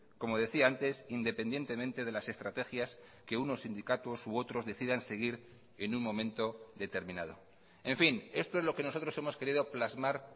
como decía antes independientemente de las estrategias que unos sindicatos u otros decidan seguir en un momento determinado en fin esto es lo que nosotros hemos querido plasmar